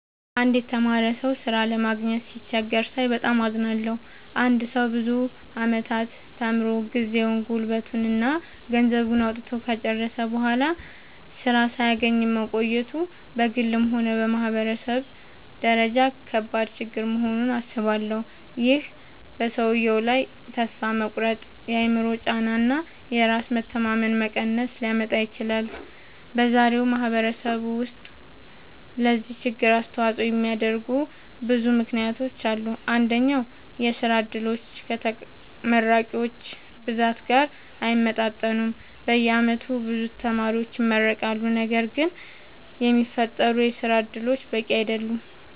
አንድ የተማረ ሰው ሥራ ለማግኘት ሲቸገር ሳይ በጣም አዝናለሁ። አንድ ሰው ብዙ ዓመታት ተምሮ፣ ጊዜውን፣ ጉልበቱን እና ገንዘቡን አውጥቶ ከጨረሰ በኋላ ሥራ ሳያገኝ መቆየቱ በግልም ሆነ በማህበረሰብ ደረጃ ከባድ ችግር መሆኑን አስባለሁ። ይህ በሰውየው ላይ ተስፋ መቁረጥ፣ የአእምሮ ጫና እና የራስ መተማመን መቀነስ ሊያመጣ ይችላል። በዛሬው ማህበረሰብ ውስጥ ለዚህ ችግር አስተዋጽኦ የሚያደርጉ ብዙ ምክንያቶች አሉ። አንደኛ፣ የሥራ ዕድሎች ከተመራቂዎች ብዛት ጋር አይመጣጠኑም። በየዓመቱ ብዙ ተማሪዎች ይመረቃሉ፣ ነገር ግን የሚፈጠሩ የሥራ እድሎች በቂ አይደሉም።